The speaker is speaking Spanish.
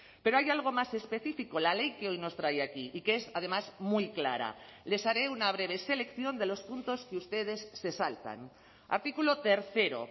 pero hay algo más específico la ley que hoy nos trae aquí y que es además muy clara les haré una breve selección de los puntos que ustedes se saltan artículo tercero